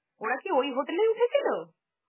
ওরা কি ওই hotel এই উঠেছিল?